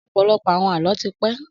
Ọ̀pọ̀lọpọ̀ àwọn Àlọ́ ti pẹ́